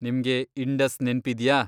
ನಿಮ್ಗೆ ಇಂಡಸ್ ನೆನ್ಪಿದ್ಯಾ?